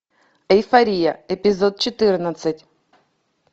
эйфория эпизод четырнадцать